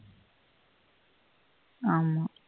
ஆஹ் ஆமா